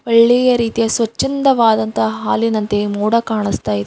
ಒಳ್ಳೆಯ ರೀತಿಯ ಸ್ವಚ್ಛಂದವಾದ ಹಾಲಿನಂತೆ ಮೋಡ ಕಾಣಿಸ್ತಾ ಇದೆ.